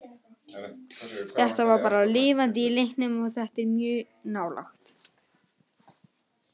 Þetta var bara lifandi í leiknum og þetta er mjög nálægt.